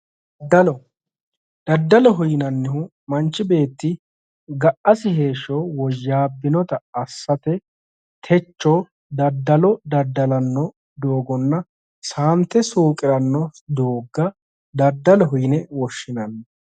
Daddaloho yinannihu manchi beetti ga'asi heeshsho woyyaabbinota assate techo daddalo daddalanno doogonna saante suuqiranno doogga daddaloho yine woshshinanni